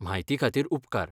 म्हायती खातीर उपकार.